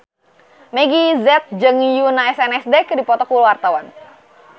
Meggie Z jeung Yoona SNSD keur dipoto ku wartawan